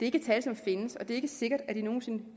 ikke tal som findes og det er ikke sikkert at de nogen sinde